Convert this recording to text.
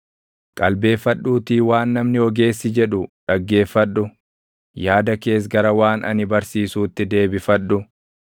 Qalbeeffadhuutii waan namni ogeessi jedhu dhaggeeffadhu; yaada kees gara waan ani barsiisuutti deebifadhu;